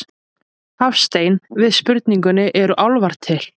Hafstein við spurningunni Eru álfar til?